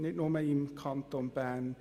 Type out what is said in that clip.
nicht nur im Kanton Bern.